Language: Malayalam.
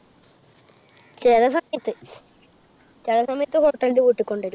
ചെല സമയത്ത്, ചെല സമയത്ത് hotel ൽ ന്ന് വീട്ടിക്കൊണ്ടരും.